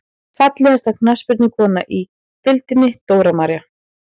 Fallegasta knattspyrnukonan í deildinni: Dóra María.